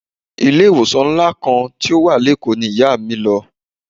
Ilé ìwòsàn ńlá kan tó wà lékòó ni Ìyá mi lọ.